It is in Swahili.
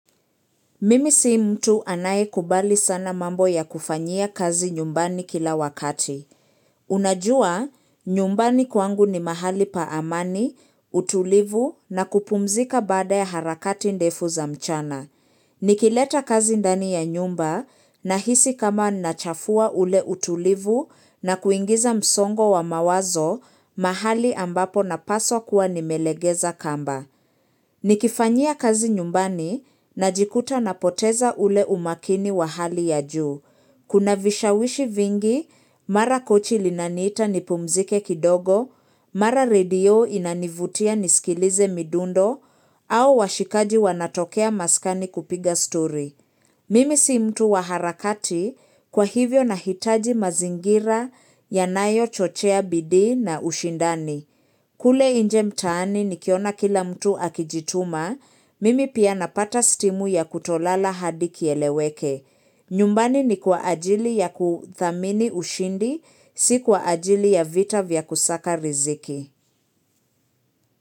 Mimi sii mtu anaye kubali sana mambo ya kufanyia kazi nyumbani kila wakati. Unajua, nyumbani kwangu ni mahali pa amani, utulivu na kupumzika baada ya harakati ndefu za mchana. Nikileta kazi ndani ya nyumba nahisi kama nachafua ule utulivu na kuingiza msongo wa mawazo mahali ambapo napaswa kuwa nimelegeza kamba. Nikifanyia kazi nyumbani najikuta napoteza ule umakini wa hali ya juu. Kuna vishawishi vingi mara kochi linaniita nipumzike kidogo, mara radio inanivutia niskilize midundo au washikaji wanatokea maskani kupiga story. Mimi si mtu wa harakati kwa hivyo na hitaji mazingira yanayo chochea bidii na ushindani. Kule inje mtaani ni kiona kila mtu akijituma, mimi pia napata stimu ya kutolala hadi kieleweke. Nyumbani ni kwa ajili ya kuthamini ushindi, si kwa ajili ya vita vya kusaka riziki.